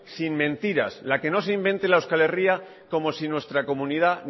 sin mentiras la que no se inventen la euskal herria como si nuestra comunidad